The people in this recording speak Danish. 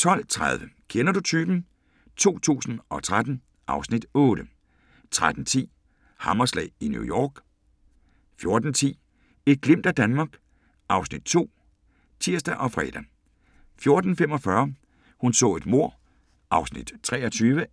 12:30: Kender du typen? 2013 (Afs. 8) 13:10: Hammerslag i New York 14:10: Et glimt af Danmark (Afs. 2)(tir og fre) 14:45: Hun så et mord (23:268) 15:35: